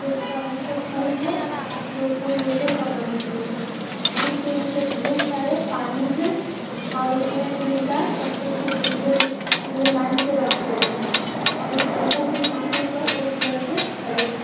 एक बड़ा सा पुल है जो पुल लोहे का बनी हुई है। पुल के नीचे ढ़ेर सारे पानी हैं और उसमें तीन चार पत्थर के टुकड़े र टुकड़े लाइन से रखी हुई है और उस पत्थर के टुकड़े पर एक लड़के खड़े हैं।